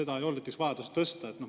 Kas ei olnud näiteks vajadus seda tõsta?